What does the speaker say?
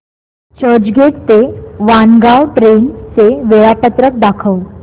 चर्चगेट ते वाणगांव ट्रेन चे वेळापत्रक दाखव